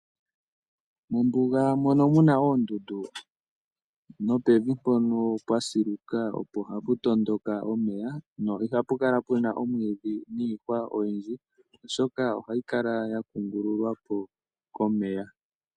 Mombuga mono muna oondundu nopevi mpono pwa siluka opo hapu tondoka omeya no ihapu kala pu na omwiidhi niihwa oyindji, oshoka ohayi kala ya kungululwa po komeya.